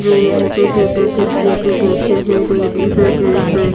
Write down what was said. जो यहां पे टेबल कुर्सियों के बैठे हैं लेडिस हैं जेंट्स है।